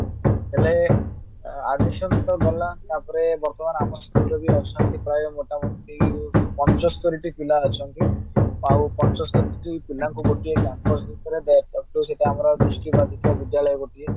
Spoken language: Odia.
ହେଲେ admission ତ ଗଲା ତ ତାପରେ ବର୍ତମାନ ଆମ school ରେ ବି ଅଛନ୍ତି ପ୍ରାୟ ମୋଟାମୋଟି ପଚସ୍ତରୀ ଟି ପିଲା ଅଛନ୍ତି ଆଉ ପଚସ୍ତରୀ ଟି ପିଲାଙ୍କୁ ଗୋଟିଏ campus ଭିତରେ ଦୃଷ୍ଟିବାଦିକ ବିଦ୍ୟାଳୟ ଗୋଟିଏ